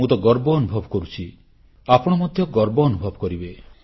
ମୁଁ ତ ଗର୍ବ ଅନୁଭବ କରୁଛି ଆପଣ ମଧ୍ୟ ଗର୍ବ ଅନୁଭବ କରିବେ